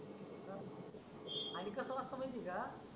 आणि कस वाचतो माहिती आहे का?